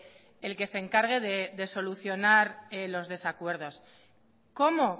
el que se encargue de solucionar los desacuerdos cómo